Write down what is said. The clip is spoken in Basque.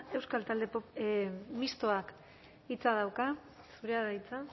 mistoak hitza dauka zurea da hitza